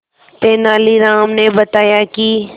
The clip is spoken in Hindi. तेनालीराम ने बताया कि